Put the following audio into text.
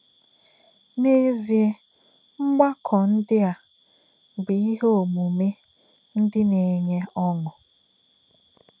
N’è̄zìè̄, mgbákọ̄ ndí̄ ā̄ bụ́ íhè̄ ọ̀mùmè̄ ndí̄ nā̄-ènyé ọ́ṅụ́.